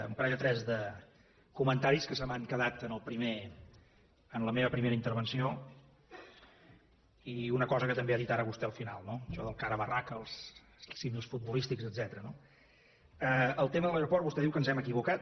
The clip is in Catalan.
un parell o tres de comentaris que se m’han quedat en la meva primera intervenció i una cosa que també ha dit ara vostè al final no això del cara a barraca els símils futbolístics etcètera no el tema de l’aeroport vostè diu que ens hem equivocat